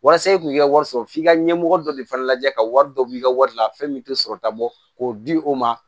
Walasa i kun ka wari sɔrɔ f'i ka ɲɛmɔgɔ dɔ de fana lajɛ ka wari dɔ b'i ka wari la fɛn min tɛ sɔrɔta bɔ k'o di o ma